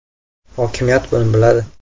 Hokimiyat buni biladi.